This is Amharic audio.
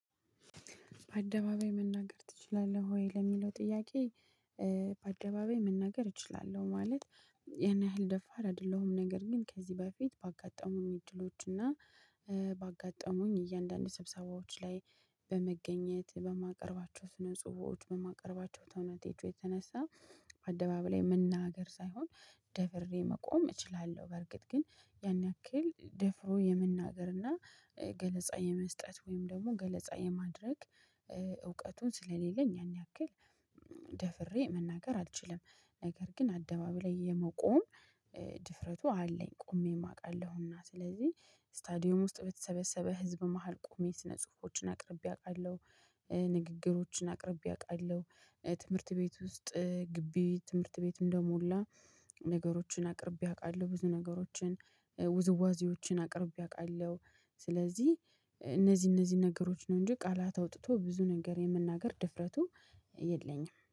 በአደባባይ መናገር ትችላለህ ወይ ለሚለው ጥያቄ? በአደባባይ መናገር እችላለሁ ማለት ያን ያህል ደፋር አይደለሁም። ነገር ግን ከዚህ በፊት ባጋጠሙኝ እድሎች እና ባጋጠሙኝ እያንዳንዱ ስብሰባዎች ላይ። በመገኘት በማቀርባቸው ስነ ጽሁፎች በማቀርባቸው ተውኔቶች የተነሳ። በአደባባይ ላይ መናገር ሳይሆን ደፍሬ መቆም እችላለሁ። ነገር ግን ያን ያክል ደፍሮ የመናገርና ገለጻ የመስጠት ወይም ደግሞ ገለጻ የማድረግ። እውቀቱን ስለሌለኝ ያን ያክል ደፍሬ መናገር አልችልም። ነገር ግን አደባባይ ላይ የመቆም ድፍረቱ አለኝ ቆሜ አውቃለሁና። ስለዚህ ስታዲየም ውስጥ በተሰበሰበ ህዝብ መሃል ቆሜ ስነ ጽሁፎችን አቅርቤ አውቃለሁ። ንግግሮችን አቅርቤ አውቃለሁ። ትምህርት ቤት ውስጥ ግቢ ትምህርት ቤት እንደሞላ ነገሮችን አቅርቤ አውቃለሁ። ብዙ ነገሮችን ውዝዋዜዎችን አቅርቤ አውቃለሁ። ስለዚህ እነዚህ እነዚህ ነገሮች ነው እንጂ ቃላት አውጥቶ ብዙ ነገር የመናገር ድፍረቱ የለኝም